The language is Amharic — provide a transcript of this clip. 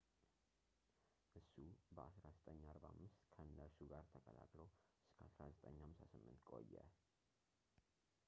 እሱ በ 1945 ከእነርሱ ጋር ተቀላቅሎ እስከ 1958 ቆየ